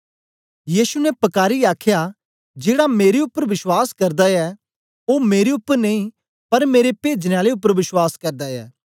यीशु ने पकारीयै आखया जेड़ा मेरे उपर बश्वास करदा ऐ ओ मेरे उपर नेई पर मेरे पेजने आले उपर बश्वास करदा ऐ